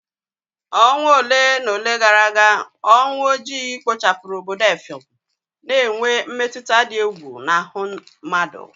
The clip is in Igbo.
Ọnwa ole na ole gara aga, ọnwụ ojii kpochapụrụ obodo effium, na-enwe mmetụta dị egwu n'ahụ mmadụ